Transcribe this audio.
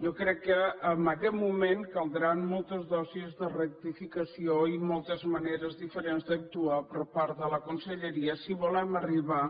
jo crec que en aquest moment caldran moltes dosis de rectificació i moltes maneres diferents d’actuar per part de la conselleria si volem arribar